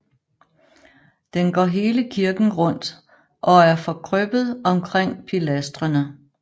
Den går hele kirken rundt og er forkrøbbet omkring pilastrene